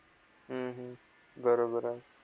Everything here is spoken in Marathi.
हम्म हम्म बरोबर आहे.